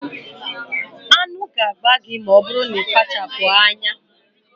Aṅụ ga-agba gị ma ọ bụrụ na ị kpachapụghị anya